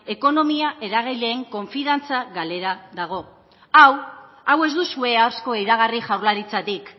ekonomia eragileen konfiantza galera dago hau hau ez duzue asko iragarri jaurlaritzatik